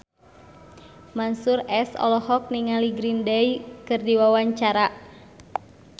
Mansyur S olohok ningali Green Day keur diwawancara